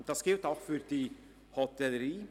Das gilt auch für die Hotellerie.